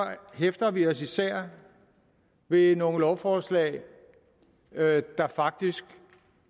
hæfter vi os især ved nogle lovforslag der faktisk